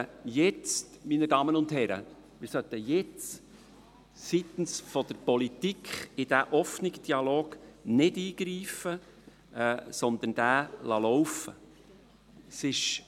Meine Damen und Herren, wir sollten jetzt seitens der Politik nicht in diesen offenen Dialog eingreifen, sondern ihn laufen lassen.